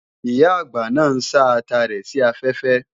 Ìyá-àgbà náà ń sá ata rẹ̀ sí afẹ́fẹ́